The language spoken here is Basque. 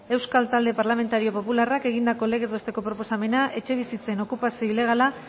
euskal talde parlamentario popularrak egindako legez besteko proposamena etxebizitzen okupazio ilegala